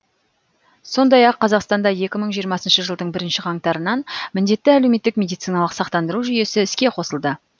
сондай ақ қазақстанда екі мың жиырмасыншы жылдың бірінші қаңтарынан міндетті әлеуметтік медициналық сақтандыру жүйесі іске қосылды